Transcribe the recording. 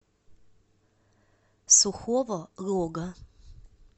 сухого лога